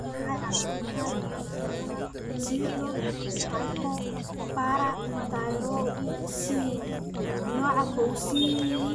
Waa maxay calaamadaha iyo calaamadaha Pseudohypoparathyroidism nooca kow C?